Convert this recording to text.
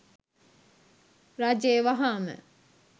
රජය වහාම